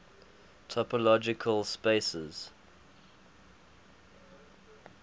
topological spaces